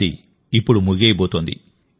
అది ఇప్పుడు ముగియబోతోంది